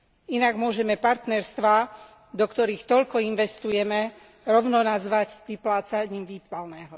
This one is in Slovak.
Inak môžeme partnerstvá, do ktorých toľko investujeme, rovno nazvať vyplácaním výpalného.